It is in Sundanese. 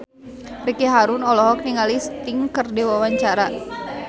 Ricky Harun olohok ningali Sting keur diwawancara